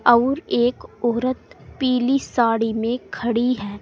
और एक औरत पीली साड़ी में खड़ी है।